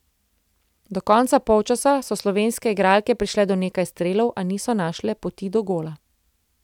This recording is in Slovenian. Do konca polčasa so slovenske igralke prišle do nekaj strelov, a niso našle poti do gola.